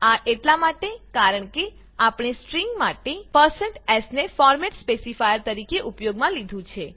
આ એટલા માટે કારણ કે આપણે સ્ટ્રીંગ માટે s ને ફોર્મેટ સ્પેસીફાયર તરીકે ઉપયોગમાં લીધું હતું